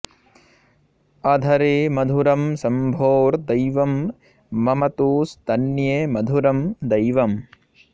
अधरे मधुरं शम्भोर्दैवं मम तु स्तन्ये मधुरं दैवम्